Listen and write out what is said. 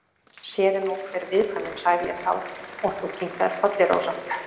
Sér er nú hver viðkvæmnin, sagði ég þá og þú kinkaðir kolli, Rósa.